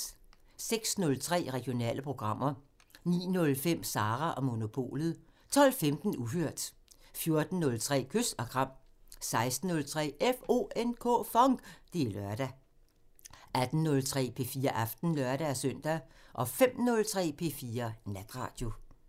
06:03: Regionale programmer 09:05: Sara & Monopolet 12:15: Uhørt 14:03: Kys og kram 16:03: FONK! Det er lørdag 18:03: P4 Aften (lør-søn) 05:03: P4 Natradio